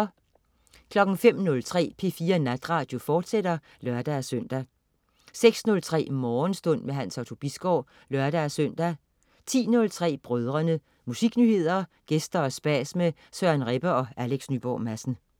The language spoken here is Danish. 05.03 P4 Natradio, fortsat (lør-søn) 06.03 Morgenstund. Hans Otto Bisgaard (lør-søn) 10.03 Brødrene. Musiknyheder, gæster og spas med Søren Rebbe og Alex Nyborg Madsen